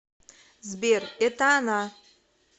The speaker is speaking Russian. сбер это она